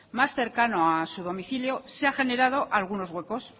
más cercano a su domicilio se ha generado algunos huecos